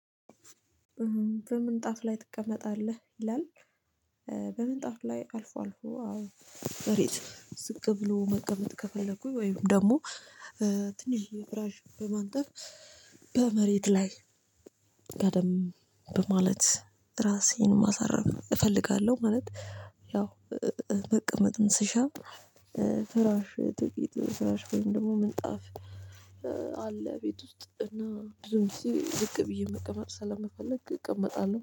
በምን ጣፍ ላይ ትቀመጣለህ ይላል? በምን ጣፍ ላይ አልፎ አልፎ አዎ መሬት ዝቅ ብሎ መቀመጥ ከፈለኩኝ ወይም ደግሞ ትንሽየ ፍራሽ በማንጠፍ በመሬት ላይ ጋደም በማለት ራሴን ማሳረፍ እፈልጋለሁ ማለት። ያው መቀመጥን ስሻ ፍራሽ ጥቂት ፍራሽ ወይም ደግሞ ምንጣፍ። አለ ቤት ውስጥ እና ብዙም ጊዜ ዝቅ ብዬ መቀመጥ ስለምፈልግ እቀመጣለሁ